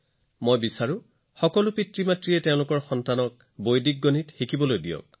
মই বিচাৰো যে সকলো অভিভাৱকে তেওঁলোকৰ সন্তানক বৈদিক গণিত শিকাওক